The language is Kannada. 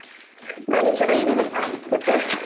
ನಾನು ಚೆನಾಗಿದಿನಿಪ ಮತ್ತೆ